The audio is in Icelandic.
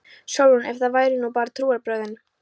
SÓLRÚN: Ef það væru nú bara trúarbrögðin!